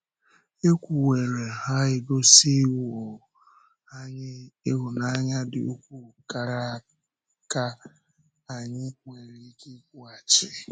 È kwuwerị, ha egosíwò anyị hụ́nanya dị ukwuu kàrà ka anyị nwere ike ịkwụghachi.